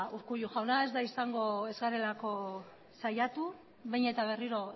urkullu jauna ez da izango ez garelako saiatu behin eta berriro